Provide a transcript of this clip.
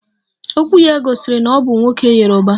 Okwu ya gosiri na o bu nwoke yoruba